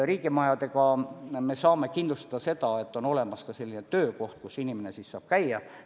Riigimajadega me saame kindlustada seda, et on olemas ka selline töökoht, kus inimene saab käia.